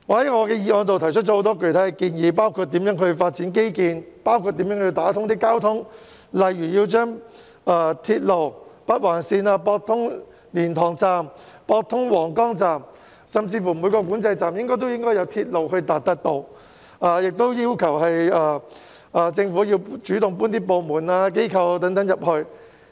我在議案中提出了許多具體建議，包括如何發展基建和貫通交通，例如以鐵路的北環綫駁通蓮塘及皇崗口岸，甚至每個管制站都應該有鐵路接駁，亦要求政府主動將其部門和機構遷進新界北。